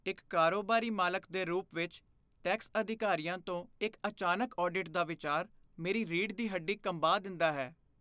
ਇੱਕ ਕਾਰੋਬਾਰੀ ਮਾਲਕ ਦੇ ਰੂਪ ਵਿੱਚ, ਟੈਕਸ ਅਧਿਕਾਰੀਆਂ ਤੋਂ ਇੱਕ ਅਚਾਨਕ ਆਡਿਟ ਦਾ ਵਿਚਾਰ ਮੇਰੀ ਰੀੜ੍ਹ ਦੀ ਹੱਡੀ ਕੰਬਾ ਦਿੰਦਾ ਹੈ।